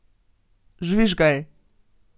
Žvižgaj!